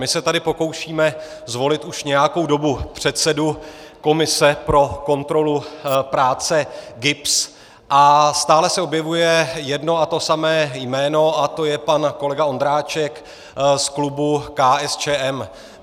My se tady pokoušíme zvolit už nějakou dobu předsedu komise pro kontrolu práce GIBS a stále se objevuje jedno a to samé jméno a to je pan kolega Ondráček z klubu KSČM.